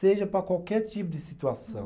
Seja para qualquer tipo de situação.